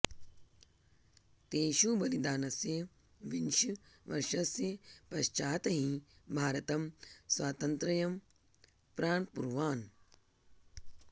तेषु बलिदानस्य विंश वर्षस्य पश्चात् हि भारतम् स्वातन्त्र्यं प्राप्नुवान्